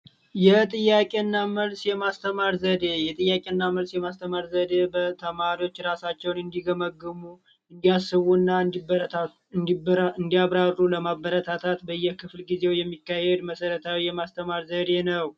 የጥያቄና መልስ የማስተማር ዘዴ፦ የጥያቄና መልስ የማስተማር ዘዴ ተማሪዎች ራሳቸውን እንዲገመግሙ፤ እንዲያስቡና እንዲያብራሩ ለማበረታታት በየክፍለጊዜው የሚካሄድ መሰረታዊ የማስተማር ዘዴ ነው።